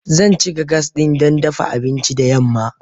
Zan cika gas ɗin dafa abinci da yamma.